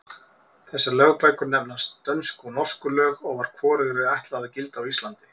Þessar lögbækur nefnast Dönsku og Norsku lög og var hvorugri ætlað að gilda á Íslandi.